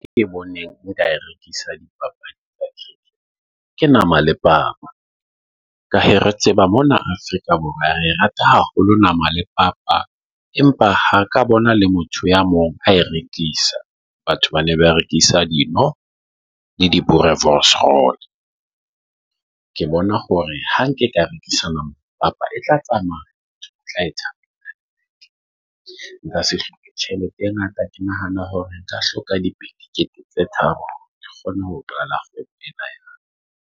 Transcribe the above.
ke boneng ka e rekisa, di ke nama le papa. Ka he re tseba mona Afrika Borwa re rata haholo nama le papa. Empa ha ka bona le motho ya mong a e rekisa. Batho ba ne ba rekisa dino le di-boerewors roll. Ke bona hore ha nke ka rekisana papa e tla tsamaya tla nka tjhelete e ngata. Ke nahana hore nka hloka di dikete tse tharo ke kgone ho patala .